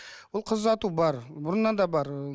ол қыз ұзату бар бұрыннан да бар ы